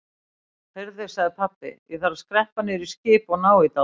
Heyrðu sagði pabbi, ég þarf að skreppa niður í skip og ná í dálítið.